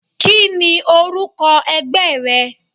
Kíni orúkọ ẹgbẹ́ rẹ?